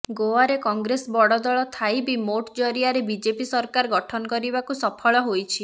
ଗୋଆରେ କଂଗ୍ରେସ ବଡ ଦଳ ଥାଇ ବି ମେଂଟ ଜରିଆରେ ବିଜେପି ସରକାର ଗଠନ କରିବାକୁ ସଫଳ ହୋଇଛି